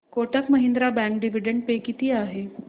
Kotak Mahindra bank dividend pay किती आहे